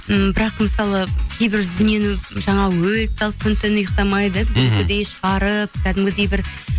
м бірақ мысалы кейбір дүниені жаңағы өліп талып күні түні ұйықтамай шығарып кәдімгідей бір